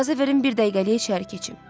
İcazə verin bir dəqiqəliyə içəri keçim.